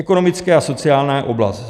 Ekonomická a sociální oblast.